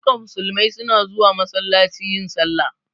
Duka musulmai su na zuwa masallaci yin sallah